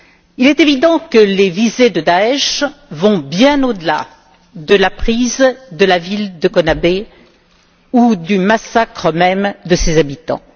Il est évident que les visées de Daïch vont bien au delà de la prise de la ville de Kobané ou du massacre même de ses habitants.